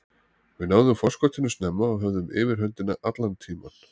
Við náðum forskotinu snemma og höfðum yfirhöndina allan tímann.